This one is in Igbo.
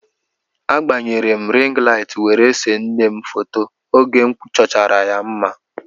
A gbanyere m rịng laịt were see nne m foto oge m chọchara ya mma.